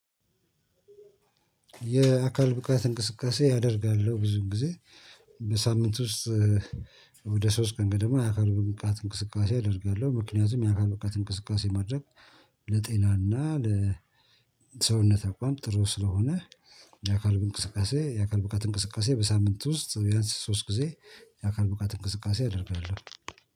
የአካል ብቃት እንቅስቃሴ አደርጋለሁ ብዙም ጊዜ በሳምንት ውስጥ ወደ ሶስት ቀን ገደማ የአካል ብቃጥ እንቅስቃሴ አደርጋለሁ ምክንያቱም የአካል ብቃት እንቅስቃሴ ማድረግ ለጤናና ለሰውነት አቋም ጥሩ ስለሆነ የአካል ብንእንቅስቃሴ የአካል ብቃት እንቅስቃሴ በሳምንት ውስጥ ቢያንስ ሶስት ጊዜ የአካል ብቃት እንቅስቃሴ አደርጋለሁ